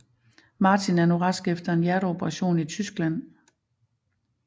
Martin er nu rask efter en hjerteoperation i Tyskland